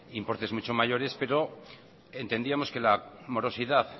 importes mucho mayores pero entendíamos que la morosidad